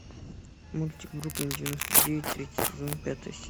мультик бруклин девяносто девять третий сезон пятая серия